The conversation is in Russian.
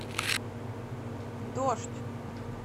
дождь